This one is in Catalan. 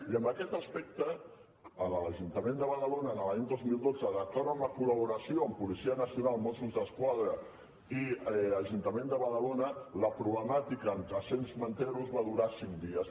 i en aquest aspecte a l’ajuntament de badalona l’any dos mil dotze d’acord amb la col·laboració amb policia nacional mossos d’esquadra i ajuntament de badalona la problemàtica amb trescents manters va durar cinc dies